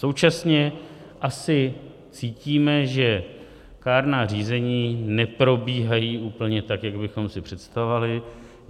Současně asi cítíme, že kárná řízení neprobíhají úplně tak, jak bychom si představovali.